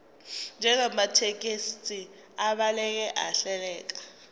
njengamathekisthi abhaleke ahleleka